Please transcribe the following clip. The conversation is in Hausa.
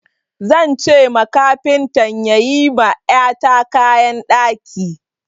Zan ce ma kafintan ya yi ma ƴata kayan ɗaki.